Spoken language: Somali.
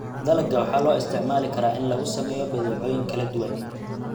Dalagga waxaa loo isticmaali karaa in lagu sameeyo badeecooyin kala duwan.